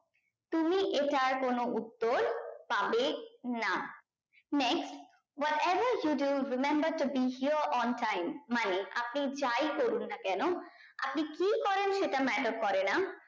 তুমি এটার কোনো উত্তর পাবে না next what ever did you remamber to bring here on time মানে আপনি যাই করুননা কেন আপনি কি করেন সেটা matter করে না